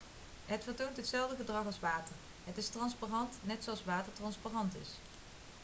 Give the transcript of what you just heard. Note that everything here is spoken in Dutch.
het vertoont hetzelfde gedrag als water het is transparant net zoals water transparant is